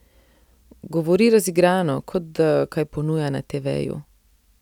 Govori razigrano, kot da kaj ponuja na teveju.